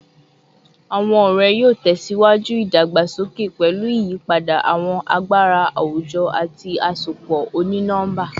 Awọn ọrẹ yoo tẹsiwaju idagbasoke pẹlu iyipada awọn agbara awujọ ati asopọ oni-nọmba